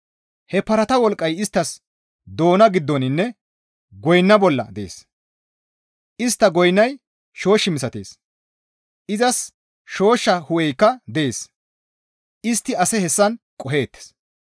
He parata wolqqay isttas doona giddoninne goyna bolla dees; istta goynay shoosh misatees; izas shooshsha hu7eykka dees; istti ase hessan qoheettes.